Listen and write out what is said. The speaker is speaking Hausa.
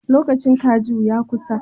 Lokacin kaju ya kusa.